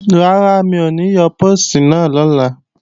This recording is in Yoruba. Rárá, mi ò ní yọ póòstì náà lọ́la